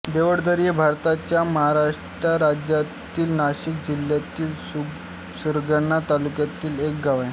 देवळदरी हे भारताच्या महाराष्ट्र राज्यातील नाशिक जिल्ह्यातील सुरगाणा तालुक्यातील एक गाव आहे